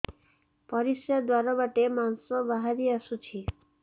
ପରିଶ୍ରା ଦ୍ୱାର ବାଟେ ମାଂସ ବାହାରି ଆସୁଛି